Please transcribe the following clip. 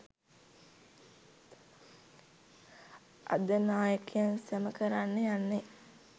අද නායකයන් සම කරන්න යන්නෙ